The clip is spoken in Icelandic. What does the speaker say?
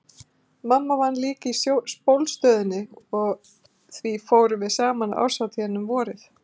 Mamma vann líka í Sjólastöðinni og því fórum við saman á árshátíðina um vorið.